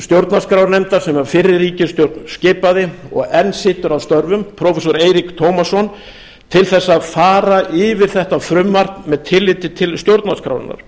stjórnarskrárnefndar sem fyrri ríkisstjórn skipaði og enn situr að störfum prófessor eirík tómasson til þess að fara yfir þetta frumvarp með tilliti til stjórnarskrárinnar